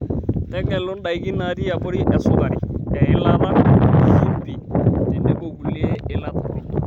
Tegelu ndaiki naati abori esukari, eilata, shimbi tetebo kulie iila torok.